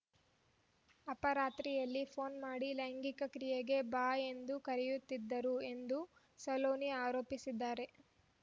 ಅಪರಾತ್ರಿಯಲ್ಲಿ phone ಮಾಡಿ ಲೈಂಗಿಕ ಕ್ರಿಯೆಗೆ ಬಾ ಎಂದು ಕರೆಯುತ್ತಿದ್ದರು ಎಂದು ಸಲೋನಿ ಆರೋಪಿಸಿದ್ದಾರೆ